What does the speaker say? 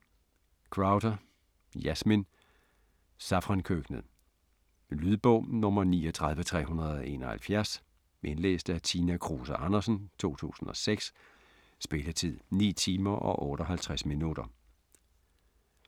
Crowther, Yasmin: Safrankøkkenet Lydbog 39371 Indlæst af Tina Kruse Andersen, 2006. Spilletid: 9 timer, 58 minutter.